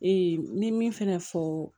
n ye min fɛnɛ fɔ